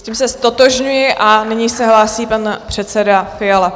S tím se ztotožňuji a nyní se hlásí pan předseda Fiala.